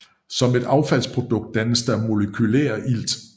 Som et affaldsprodukt dannes der molekylær ilt